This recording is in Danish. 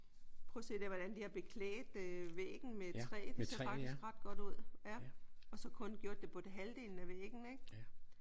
Prøv at se der hvordan de har beklædt øh væggen med træ. Det ser faktisk ret godt ud. Ja. Og så kun gjort det på halvdelen af væggen ik?